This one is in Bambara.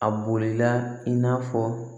A bolila i n'a fɔ